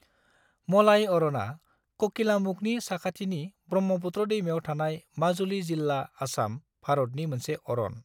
मलाई अर'ना ककिलामुखनि साखाथिनि ब्रह्मपुत्र दैमायाव थानाय माजुलि जिल्ला, आसाम, भारतनि मोनसे अरन।